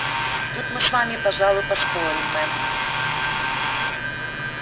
тут мы с вами пожалуй поспорим мэм